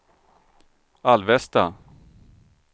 Alvesta